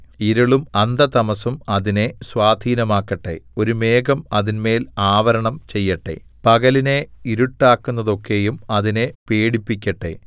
ഇരുളും അന്ധതമസ്സും അതിനെ സ്വാധീനമാക്കട്ടെ ഒരു മേഘം അതിന്മേൽ ആവരണം ചെയ്യട്ടെ പകലിനെ ഇരുട്ടാക്കുന്നതൊക്കെയും അതിനെ പേടിപ്പിക്കട്ടെ